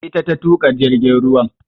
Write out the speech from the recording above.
Ita ta tuƙa jirgin ruwan